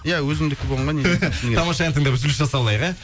иә өзіңдікі болғанға не жетсін тамаша ән тыңдап үзіліс жасап алайық ә